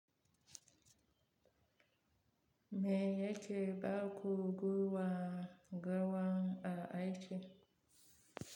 Me yake baƙu gwangawan a aiki?